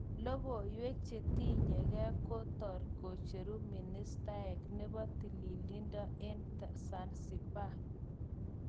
Lokowek chetinyeke kotor kicheru ministayat nebo tililido eng Zanzibar